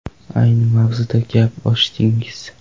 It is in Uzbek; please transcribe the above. Ayni mavzuda gap ochdingiz.